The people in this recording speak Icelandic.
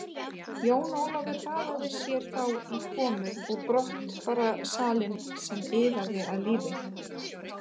Jón Ólafur hraðaði sér þá í komu og brottfararsalinn sem iðaði af lífi.